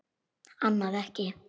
Annað ekki.